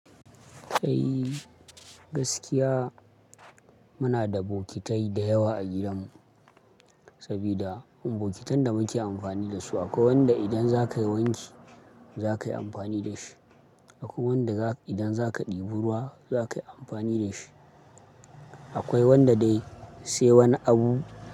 Sai gaskiya muna da bokitai da yawa a gidanmu sabida bokitan da muke amfani da su akwai wanda idan za ka yi wanki za ka yi amfani da shi. Akwai wanda idan za ka ɗebo ruwa za ka yi amfani da shi. Akwai wanda dai sai wani abu-